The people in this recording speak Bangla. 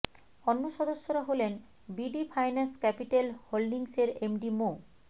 অন্য সদস্যরা হলেন বিডি ফাইন্যান্স ক্যাপিটাল হোল্ডিংসের এমডি মো